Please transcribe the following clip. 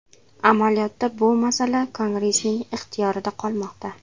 Amaliyotda bu masala Kongressning ixtiyorida qolmoqda.